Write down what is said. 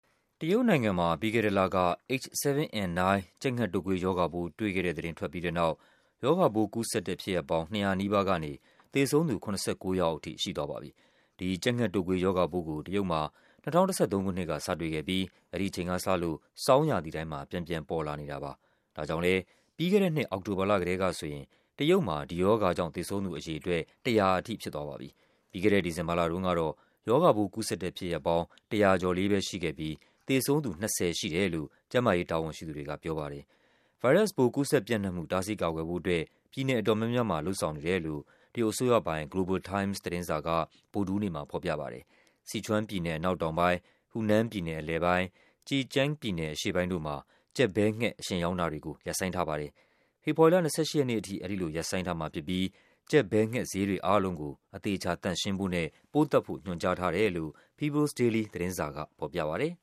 တရုတ်နိုင်ငံမှာ ပြီးခဲ့တဲ့လက H7N9 ကြက်ငှက်တုတ်ကွေးရောဂါပိုး တွေ့ခဲ့တဲ့သတင်း ထွက်ပြီးတဲ့နောက် ရောဂါပိုးကူးစက်တဲ့ ဖြစ်ရပ်ပေါင်း ၂၀၀ နီးပါးကနေ သေဆုံးသူ ၇၉ ယောက်အထိ ရှိသွားပါပြီ။ ဒီကြက်ငှက်တုပ်ကွေးရောဂါပိုးကို တရုတ်မှာ ၂၀၁၃ ခုနှစ်က စတွေ့ခဲ့ပြီး အဲဒီအချိန်ကစလို့ ဆောင်းရာသီတိုင်းမှာ ပြန်ပြန်ပေါ်လာနေတာပါ။ ဒါကြောင့်လဲ ပြီးခဲ့တဲ့နှစ် အောက်တိုဘာလ ကတည်းကဆိုရင် တရုတ်မှာ ဒီရောဂါကြောင့် သေဆုံးသူအရေအတွက် ၁၀၀ ထိဖြစ်သွားပါပြီ။ ပြီးခဲ့တဲ့ ဒီဇင်ဘာလတုန်းကတော့ ရောဂါပိုးကူးစက်တဲ့ဖြစ်ရပ်ပေါင်း ၁၀၀ ကျော်လေးပဲရှိခဲ့ပြီး သေဆုံးသူ ၂၀ ရှိတယ်လို့ ကျန်းမာရေးတာဝန်ရှိသူတွေက ပြောပါတယ်။ ဗိုင်းရပ်စ်ပိုး ကူးစက်ပြန့်နှံ့မှု တားဆီးကာကွယ်ဖို့အတွက် ပြည်နယ်အတော်များများမှာ လုပ်ဆောင်နေတယ်လို့ အစိုးရပိုင် Global Times သတင်းစာက ဗုဒ္ဓဟူးနေ့မှာဖော်ပြပါတယ်။ Sichuan ပြည်နယ်အနောက်တောင်ပိုင်း၊ Hunan ပြည်နယ် အလယ်ပိုင်း၊ Zhejiang ပြည်နယ် အရှေ့ပိုင်းတို့မှာ ကြက်ဘဲငှက် အရှင်ရောင်းတာတွေကို ရပ်ဆိုင်းထားပါတယ်။ ဖေဖော်ဝါရီလ ၂၈ ရက်နေ့ထိ ဒီလိုရပ်ဆိုင်းထားမှာဖြစ်ပြီး ကြက်ဘဲငှက်ဈေးတွေအားလုံးကို အသေအချာ သန့်ရှင်းဖို့နဲ့ ပိုးသတ်ဖို့ ညွှန်ကြားထားတယ်လို့ People’s Daily သတင်းစာကဖော်ပြပါတယ်